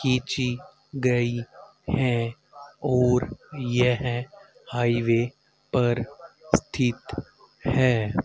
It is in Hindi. खिंची गई है और यह हाइवे पर स्थित है।